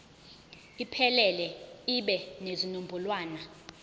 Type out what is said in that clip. iphelele ibe nezinombolwana